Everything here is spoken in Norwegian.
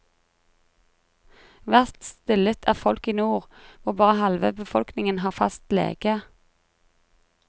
Verst stillet er folk i nord, hvor bare halve befolkningen har fast lege.